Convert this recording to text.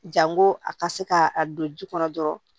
Janko a ka se ka a don ji kɔnɔ dɔrɔn